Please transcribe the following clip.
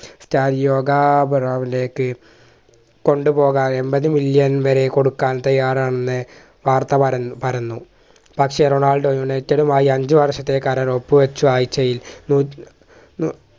ലേക്ക് കൊണ്ടുപോകാൻ എൺപത് million വരെ കൊടുക്കാൻ തയ്യാറാണെന്ന് വാർത്ത പരന്നു പരന്നു. പക്ഷെ റൊണാൾഡോ യൂണൈറ്റഡുമായി അഞ്ചു വർഷത്തെ കരാർ ഒപ്പു വച്ചു ആയ്ചയിൽ നൂറ്റി നൂ